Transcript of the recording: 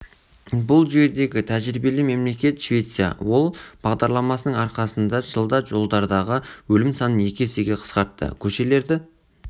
бұл жүйедегі тәжірибелі мемлекет швеция ол бағдарламасының арқасында жылда жолдардағы өлім санын екі есеге қысқартты көшелерді